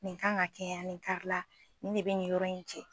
Nin kan ka kɛ yan nin kari la nin ne bɛ nin yɔrɔ in jɛn.